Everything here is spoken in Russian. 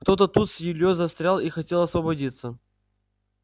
кто-то тут с ильёй застрял и хотел освободиться